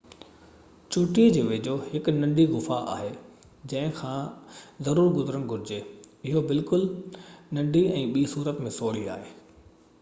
چوٽي جي ويجهو هڪ ننڍي غفا آهي جنهن کان ضرور گذرڻ گهرجي اهو بلڪل ننڍي ۽ ٻي صورت ۾ سوڙي آهي